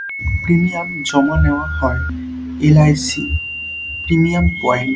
Premium জমা নেয়া হয় L. I. C. Premium point.